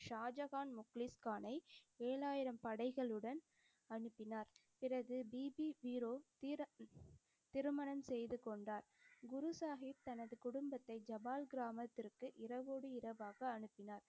ஷாஜகான் முக்லீஸ்கானை ஏழாயிரம் படைகளுடன் அனுப்பினார். பிறகு பீபி பீரோ திர~ திருமணம் செய்து கொண்டார். குரு சாஹிப் தனது குடும்பத்தை ஜபால் கிராமத்திற்கு இரவோடு இரவாக அனுப்பினார்.